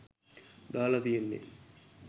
දාලා තියෙන්නේ.